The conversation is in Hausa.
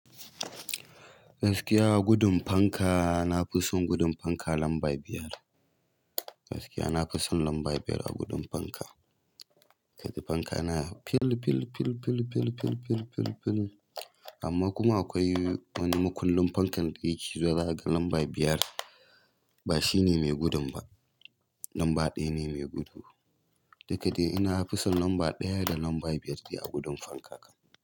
Gaskiya a gudun fanka, na fi son gudun fanka lamba biyar. Gaskiya na fi son lamba biyar a gudun fanka. Kaji fanka na fil, fil, fil, fil, fil, fil, fil, fil, fil amma kuma akwai wani mukullin fankan da yake zuwa ga lamba biyar, ba shi ne mai gudun ba. Lamba ɗaya ne mai gudu. Duk da dai ina fi son lamba ɗaya da lamba biyar a gudun fanka.